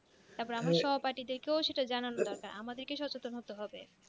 তারপর আমার সহপাঠীদেরকেও সেটা জানানো দরকার আমাদের সচেতন হতে হবে